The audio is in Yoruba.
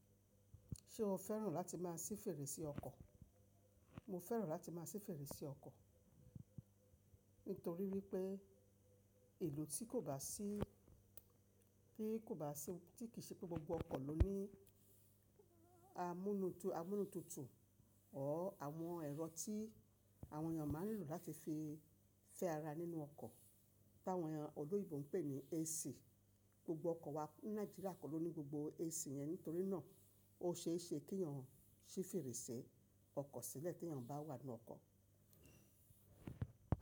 Ṣé o fẹ́ràn láti má a ṣí fèrèsé ọkọ̀? Mo fẹ́ràn láti má a ṣí fèrèsé ọkọ̀. Nítorí wípé ìlú tí kò bá sí, tí kò bá sí, tí kì í ṣe pé gbogbo ọkọ̀ ló ní amúnútutù ọ́ àwọn ẹ̀rọ tí àwọn ènìyàn máa ń lò láti fi fẹ́ ara nínú ọkọ̀, tí àwọn ènìyàn olóyèbo ń pè ní AC. Gbogbo ọkọ̀ wa ní Nàíjíríà kò ló ní gbogbo AC yẹn nítorí náà ó ṣe é ṣe kí ènìyàn ṣí fèrèsé ọkọ̀ sílẹ̀ tí ènìyàn bá wà nínú ọkọ̀.